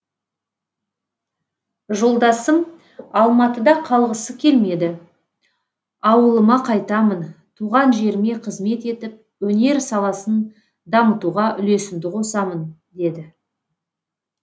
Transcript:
жолдасым алматыда қалғысы келмеді ауылыма қайтамын туған жеріме қызмет етіп өнер саласын дамытуға үлесімді қосамын деді